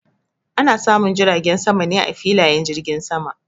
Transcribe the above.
Ana samun jiragen sama ne a filayen jirgin sama.